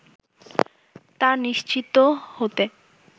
তা নিশ্চিত হতে